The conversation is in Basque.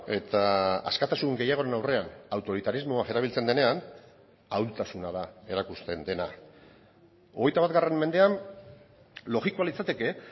eta askatasun gehiagoren aurrean autoritarismoa erabiltzen denean ahultasuna da erakusten dena hogeita bat mendean logikoa litzateke